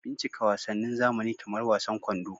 Bincika wasannin zamani kamar wasan kwando